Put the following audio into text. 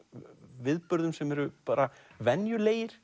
viðburðum sem eru bara venjulegir